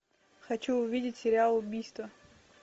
хочу увидеть сериал убийство